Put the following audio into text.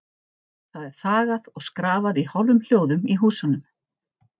Það er þagað og skrafað í hálfum hljóðum í húsunum.